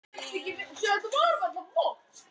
Bjarný, spilaðu tónlist.